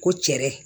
Ko cɛɛrɛ